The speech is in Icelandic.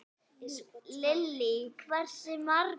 Lillý: Hversu margar?